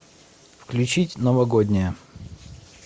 включить новогодняя